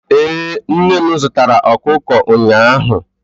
ee, nne m zụtara okụkụ ụnyaahụ